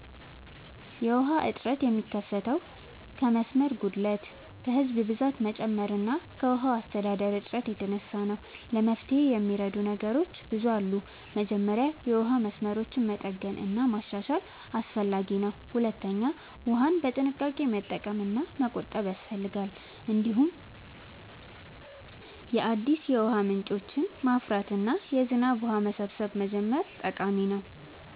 የውሃ እጥረት የሚከሰተው ከመስመር ጉድለት፣ ከህዝብ ብዛት መጨመር እና ከውሃ አስተዳደር እጥረት የተነሳ ነው። ለመፍትሄ የሚረዱ ነገሮች ብዙ አሉ። መጀመሪያ የውሃ መስመሮችን መጠገን እና ማሻሻል አስፈላጊ ነው። ሁለተኛ ውሃን በጥንቃቄ መጠቀም እና መቆጠብ ያስፈልጋል። እንዲሁም አዲስ የውሃ ምንጮችን ማፍራት እና የዝናብ ውሃ መሰብሰብ መጀመር ጠቃሚ ነው።